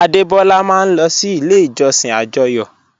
Adebọ́lá máa n lọ sí ilẹ̀ ìjọ̀ṣìn ajóyò